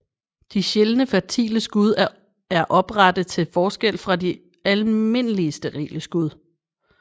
De sjældne fertile skud er oprette til forskel fra de almindelige sterile skud